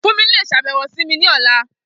Fumi le ṣabẹwo si mi ni ọla.